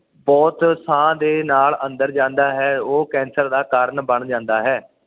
ਬੁਹਤ ਸਾਹ ਦੇ ਨਾਲ ਅੰਦਰ ਜਾਂਦਾ ਹੈ ਉਹ ਕੈਂਸਰ ਦਾ ਕਾਰਨ ਬਣ ਜਾਂਦਾ ਹੈ